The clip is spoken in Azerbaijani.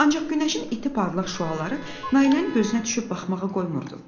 Ancaq günəşin iti parlaq şüaları Nailənin gözünə düşüb baxmağa qoymurdu.